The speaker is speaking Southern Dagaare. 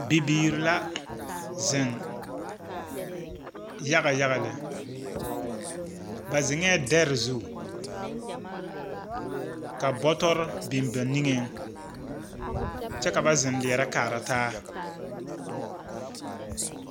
Bibiiri la zeŋ yaga yaga lԑ. Ba zeŋԑԑ dԑre zu ka bͻtͻre biŋ ba niŋeŋ Kyԑ ka ba zeŋ leԑrԑ kaara taa.